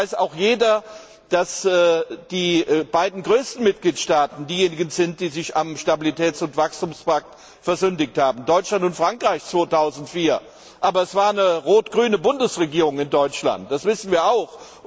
Es weiß auch jeder, dass die beiden größten Mitgliedstaaten diejenigen sind, die sich am Stabilitäts und Wachstumspakt versündigt haben, Deutschland und Frankreich 2004, aber es gab damals eine rot grüne Bundesregierung in Deutschland, das wissen wir auch.